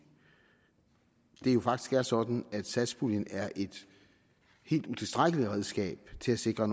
det jo faktisk er sådan at satspuljen er et helt utilstrækkeligt redskab til at sikre